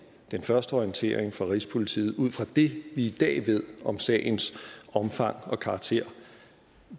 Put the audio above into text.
den første orientering fra rigspolitiet ud fra det vi i dag ved om sagens omfang og karakter